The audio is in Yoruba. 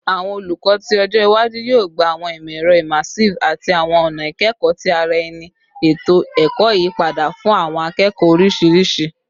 Awọn olukọ ti ọjọ iwaju yoo gba awọn imọ-ẹrọ immersive ati awọn ọna ikẹkọ ti ara ẹni, eto ẹkọ iyipada fun awọn akẹẹkọ oriṣiriṣi